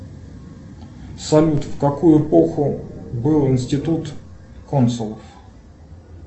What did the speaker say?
салют в какую эпоху был институт консулов